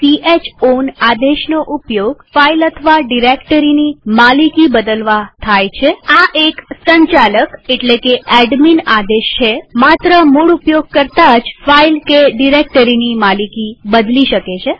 ch ઓન આદેશનો ઉપયોગ ફાઈલ અથવા ડિરેક્ટરીની માલિકી બદલવા થાય છેઆ એક સંચાલક એટલે કે એડમીન આદેશ છેમાત્ર મૂળ ઉપયોગકર્તા જ ફાઈલ કે ડિરેક્ટરીની માલિકી બદલી શકે છે